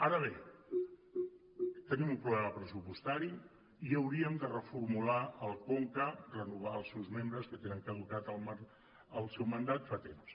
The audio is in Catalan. ara bé tenim un problema pressupostari i hauríem de reformular el conca renovar els seus membres que tenen caducat el seu mandat fa temps